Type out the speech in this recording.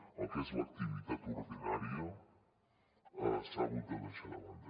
el que és l’activitat ordinària s’ha hagut de deixar de banda